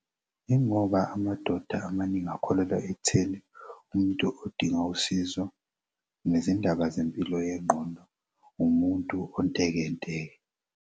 Yingoba amadoda amaningi akholelwa ekutheni umuntu odinga usizo nezindaba zempilo yengqondo umuntu ontekenteke.